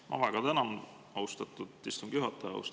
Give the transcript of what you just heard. Ma väga tänan, austatud istungi juhataja!